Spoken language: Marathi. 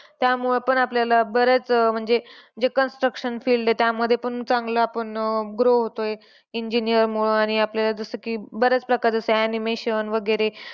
त्यामुळं पण आपल्याला बऱ्याच अह म्हणजे जे construction field आहे त्यामध्ये पण चांगलं आपण अह grow होतोय. Engineer मुळ आणि आपल्याला जसं की बऱ्याच प्रकारे असतात animation वैगरे